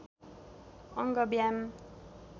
अङ्ग व्यायाम